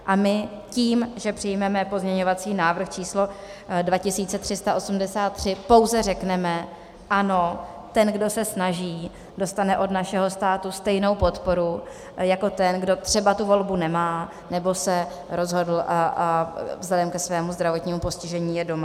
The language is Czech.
A my tím, že přijmeme pozměňovací návrh číslo 2383, pouze řekneme ano, ten kdo se snaží, dostane od našeho státu stejnou podporu jako ten, kdo třeba tu volbu nemá, nebo se rozhodl a vzhledem ke svému zdravotnímu postižení je doma.